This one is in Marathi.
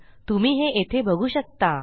तुम्ही हे येथे बघू शकता